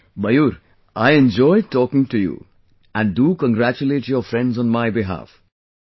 Mayur, I enjoyed talking to you and do congratulate your friends on my behalf...